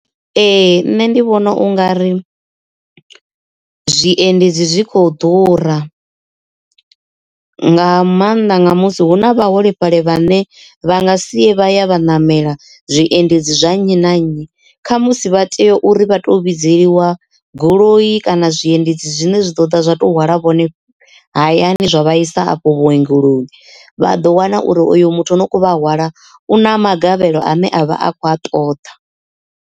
Ee nṋe ndi vhona u nga ri zwiendedzi zwit kho ḓura nga maanḓa nga musi hu na vhaholefhali vhane vha nga si ye vha ya vha namela zwiendedzi zwa nnyi na nnyi kha musi vha tea uri vha to vhidziwa goloi kana zwiendedzi zwine zwi do di zwa to hwala vhone hayani zwa vha isa afho vhuongeloni vha ḓo wana uri uyu muthu no kho vha hwala u na magavhelo ane avha a kho ṱoḓa.